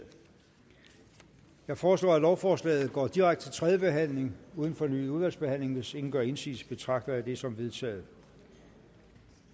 jeg foreslår at lovforslaget går direkte til tredje behandling uden fornyet udvalgsbehandling hvis ingen gør indsigelse betragter jeg det som vedtaget